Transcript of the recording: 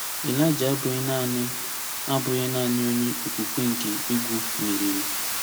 Elija abụghị naanị abụghị naanị onye okwukwe nke egwu meriri.